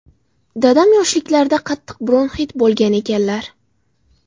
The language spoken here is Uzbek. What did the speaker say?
Dadam yoshliklarida qattiq bronxit bo‘lgan ekanlar.